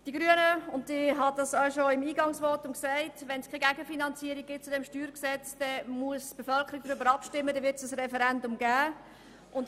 Ich habe es bereits in meinem Eingangsvotum gesagt: Wenn es zu diesem StG keine Gegenfinanzierung gibt, muss die Bevölkerung darüber abstimmen, dann wird es ein Referendum geben.